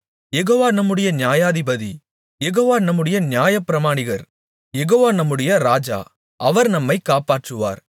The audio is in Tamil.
யெகோவா நம்முடைய நியாயாதிபதி யெகோவா நம்முடைய நியாயப்பிரமாணிகர் யெகோவா நம்முடைய ராஜா அவர் நம்மை காப்பாற்றுவார்